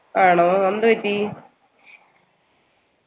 ആണോ എന്തുപറ്റി